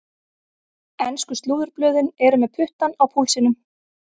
Ensku slúðurblöðin eru með puttann á púlsinum.